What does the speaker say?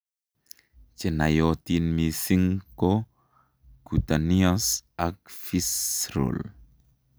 Chenaiyotin mising' ko cutaneous ak visceral